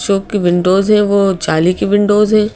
Shop की windows हैं वो जाली की विंडोज हैं।